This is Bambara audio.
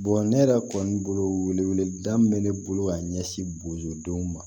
ne yɛrɛ kɔni bolo weleli da min bɛ ne bolo ka ɲɛsin bozodenw ma